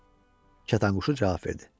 Kətanquşu cavab verdi.